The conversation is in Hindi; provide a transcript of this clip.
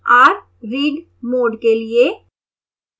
r read mode के लिए है